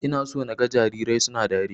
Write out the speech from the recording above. Ina so naga jarirai suna dariya.